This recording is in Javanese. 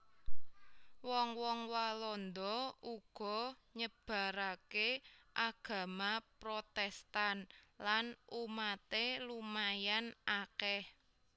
Wong wong Walanda uga nyebaraké agama Protèstan lan umaté lumayan akèh